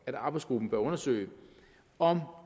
at arbejdsgruppen bør undersøge om